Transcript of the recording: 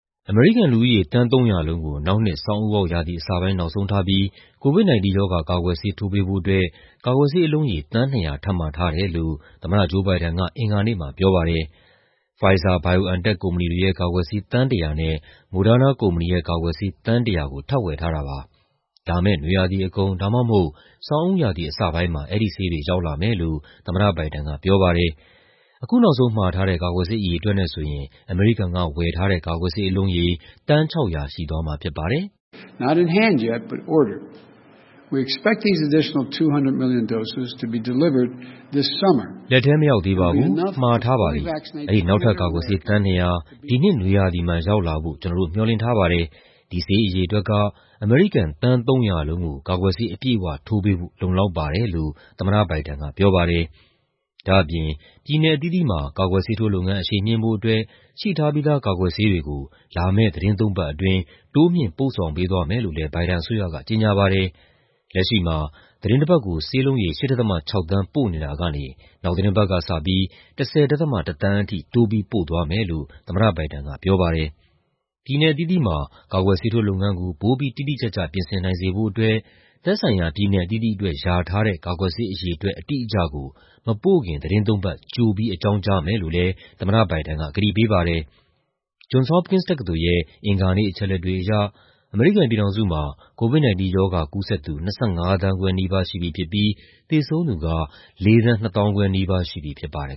အမေရိကန်လူဦးရေ သန်း ၃၀၀ လုံးကို နောက်နှစ် ဆောင်းဦးပေါက်ရာသီအစပိုင်း နောက်ဆုံးထားပြီး COVID-19 ကာကွယ်ဆေး ထိုးပေးဖို့အတွက် ကာကွယ်ဆေးအလုံးရေ သန်း ၂၀၀ ထပ်မှာထားတယ်လို့ သမ္မတ ဂျိုး ဘိုင်ဒန်က အင်္ဂါနေ့မှာပြောပါတယ်။ Pfizer-BioNTech ကုမ္ပဏီတွေရဲ့ကာကွယ်ဆေး သန်း ၁၀၀ နဲ့ Moderna ကုမ္ပဏီရဲ့ကာကွယ်ဆေး သန်း ၁၀၀ ကို ထပ်ဝယ်ထားတာပါ။ လာမယ့် နွေရာသီအကုန် ဒါမှမဟုတ် ဆောင်းဦးရာသီအစပိုင်းမှာ အဲဒီဆေးတွေရောက်လာမယ်လို့ သမ္မတဘိုင်ဒန်ကပြောပါတယ်။ အခုနောက်ဆုံးမှာထားတဲ့ ကာကွယ်ဆေး အရေအတွက်နဲ့ဆိုရင် အမေရိကန်ကဝယ်ထားတဲ့ ကာကွယ်ဆေးအလုံးရေ သန်း ၆၀၀ ရှိသွားမှာဖြစ်ပါတယ်။ "လက်ထဲမရောက်သေးပါဘူး၊ မှာထားပါပြီ။ အဲဒီ နောက်ထပ် ကာကွယ်ဆေး သန်း ၂၀၀ ဒီနှစ်နွေရာသီမှာ ရောက်လာဖို့ ကျနော်တို့ မေ ျှာ်လင့်ထားပါတယ်။ ဒီဆေးအရေအတွက်က အမေရိကန် သန်း ၃၀၀ လုံးကို ကာကွယ်ဆေး အပြည့်အဝထိုးပေးဖို့ လုံလောက်ပါတယ်။" လို့ သမ္မတဘိုင်ဒန်ကပြောပါတယ်။ ဒါ့အပြင် ပြည်နယ်အသီးသီးမှာ ကာကွယ်ဆေးထိုးလုပ်ငန်း အရှိန်မြှင့်ဖို့အတွက် ရှိထားပြီးသား ကာကွယ်ဆေးတွေကို လာမယ့်သီတင်းသုံးပတ်အတွင်း တိုးမြှင့် ပို့ဆောင်ပေးသွားမယ်လို့လည်း ဘိုင်ဒန်အစိုးရက ကြေညာပါတယ်။ လက်ရှိမှာ သီတင်းတပတ်ကို ဆေးလုံးရေ ၈.၆ သန်း ပို့နေတာကနေ နောက်သီတင်းပတ်ကစပြီး ၁၀.၁ သန်းထိ တိုးပြီးပို့သွားမယ်လို့ သမ္မတဘိုင်ဒန်ကပြောပါတယ်။ ပြည်နယ်အသီးသီးမှာ ကာကွယ်ဆေးထိုးလုပ်ငန်းကို ပိုပြီး တိတိကျကျ ပြင်ဆင်နိုင်စေဖို့အတွက် သက်ဆိုင်ရာပြည်နယ်အသီးသီးအတွက် လျာထားတဲ့ ကာကွယ်ဆေးအရေအတွက် အတိအကျကို မပို့ခင် သီတင်းသုံးပတ် ကြိုပြီး အကြောင်းကြားမယ်လို့လည်း သမ္မတဘိုင်ဒန်က ကတိပေးပါတယ်။ Johns Hopkins တက္ကသိုလ်ရဲ့ အင်္ဂါနေ့အချက်အလက်တွေအရ အမေရိကန်ပြည်ထောင်စုမှာ COVID-19 ရောဂါကူးစက်သူ ၂၅ သန်းခွဲနီးပါးရှိပြီဖြစ်ပြီး သေဆုံးသူက ၄,၀၂၅,၀၀၀ နီးပါးရှိပြီဖြစ်ပါတယ်